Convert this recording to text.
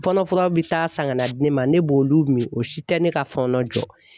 Fɔɔnɔ furaw bi taa san kana di ne ma ne b'olu min o si tɛ ne ka fɔɔnɔ jɔ.